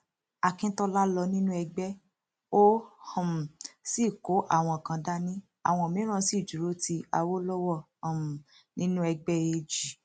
akíntola lọ nínú ẹgbẹ ó um sì kó àwọn kan dání àwọn mìíràn sì dúró ti awolowo um nínú ẹgbẹ ag